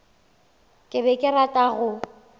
ke be ke rata go